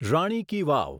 રાણી ki વાવ